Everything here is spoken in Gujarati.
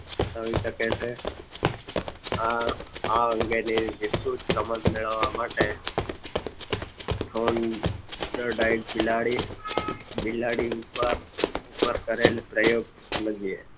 દર્શાવી શકે છે આ અંગે વિસ્તૃત સમજ મેળવવા માટે જોર્નડાઇન બિલાડી બિલાડી ઉપર કરેલ પ્રયોગ સમજીએ